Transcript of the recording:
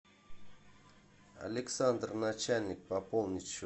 александр начальник пополнить счет